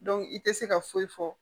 i tɛ se ka foyi fɔ